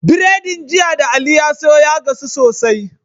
Biredin jiya da ali ya siyo ya gasu sosai